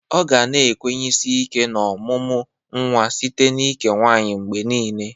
Ọ ga na-ekwenyesi ike n'ọmụmụ nwa site n'ike nwaanyị mgbe niile.